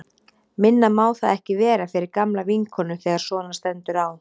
Minna má það ekki vera fyrir gamla vinkonu þegar svona stendur á.